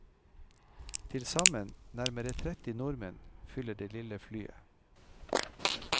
Tilsammen nærmere tretti nordmenn fyller det lille flyet.